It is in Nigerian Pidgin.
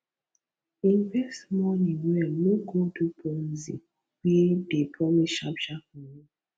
invest money well no go do ponzi wey dey promise sharp sharp money